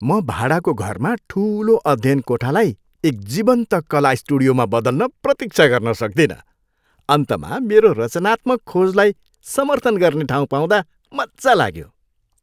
म भाडाको घरमा ठुलो अध्ययनकोठालाई एक जीवन्त कला स्टुडियोमा बदल्न प्रतिक्षा गर्न सक्दिन। अन्तमा मेरो रचनात्मक खोजलाई समर्थन गर्ने ठाउँ पाउँदा मज्जा लाग्यो।